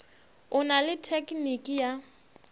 o na le tekniki ya